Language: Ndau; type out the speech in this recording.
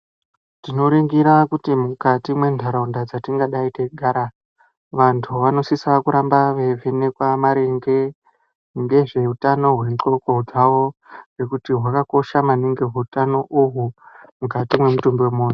Tinoringira kuti mukati mwentaraunda dzatingadai teigara, vantu vanosisa kuti varamba veivhenekwa maringe ngezveutano hwendxondo dzavo, ngekuti hwakakosha maningi hutano uhwu, mukati mwemutumbi wemunhu.